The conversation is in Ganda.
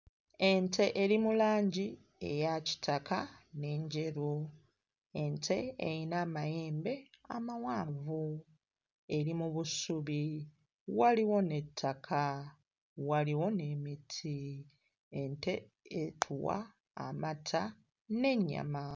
Ente eri mu langi eya kitaka n'enjeru ente eyina amayembe amawanvu eri mu busubi waliwo n'ettaka waliwo n'emiti ente etuwa amata n'ennyama.